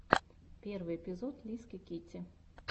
первый эпизод лиски китти